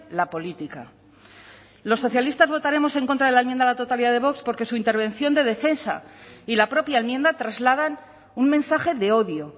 la política los socialistas votaremos en contra de la enmienda a la totalidad de vox porque su intervención de defensa y la propia enmienda trasladan un mensaje de odio